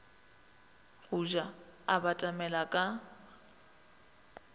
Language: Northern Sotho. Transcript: go ja a batamela ka